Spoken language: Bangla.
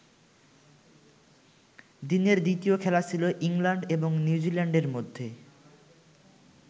দিনের দ্বিতীয় খেলা ছিল ইংল্যান্ড এবং নিউজিল্যান্ডের মধ্যে।